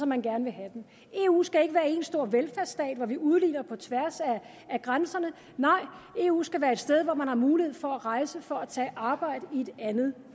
man gerne vil have dem eu skal ikke være én stor velfærdsstat hvor vi udligner på tværs af grænserne nej eu skal være et sted hvor man har mulighed for at rejse for at tage arbejde i et andet